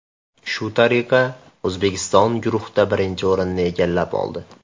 Shu tariqa, O‘zbekiston guruhda birinchi o‘rinni egallab oldi.